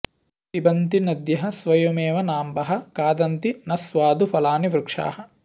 पिबन्ति नद्यः स्वयमेव नाम्भः खादन्ति न स्वादु फलानि वृक्षाः